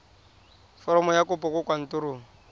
foromo ya kopo kwa kantorong